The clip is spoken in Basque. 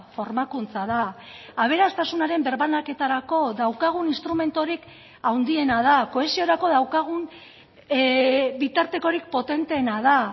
formakuntza da aberastasunaren birbanaketarako daukagun instrumenturik handiena da kohesiorako daukagun bitartekorik potenteena da